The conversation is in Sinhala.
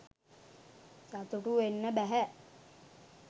සතුටු වෙන්න බැහැ.